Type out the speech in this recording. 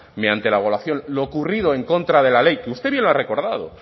mediante lo ocurrido en contra de la ley que usted misma ha recordado